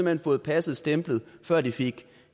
hen fået passet stemplet før de fik